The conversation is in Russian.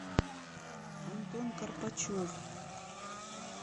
антон корпачев